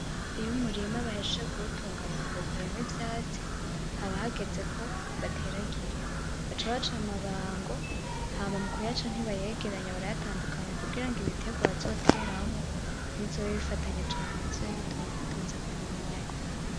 Iyo umurima bahejeje kuwutunganya bakawukuramwo ivyatsi, haba hageze ko bateragira, baca baca amabango, hama mukuyaca ntibayegeranya, barayatandukanya kugira ibiterwa bazoteramwo ntibizobe bifatanye cane bizobe bitonze k'umurongo.